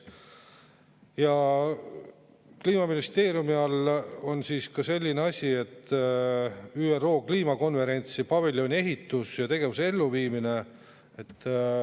Ja Kliimaministeeriumi all on ka selline asi: ÜRO kliimakonverentsi paviljoni ehitus ja tegevuse elluviimine.